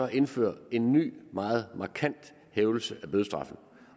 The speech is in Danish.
at indføre en ny og meget markant hævelse af bødestraffen